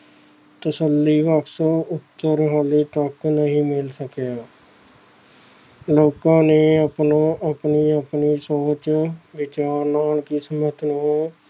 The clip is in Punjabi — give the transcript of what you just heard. ਤਸੱਲੀਬਖਸ ਉੱਤਰ ਹਾਲੇ ਤੱਕ ਨਹੀਂ ਮਿਲ ਸਕਿਆ ਲੋਕਾਂ ਨੇ ਆਪਣਾ, ਆਪਣੀ ਆਪਣੀ ਸੋਚ ਵਿਚਾਰ ਨਾਲ ਕਿਸਮਤ ਨੂੰ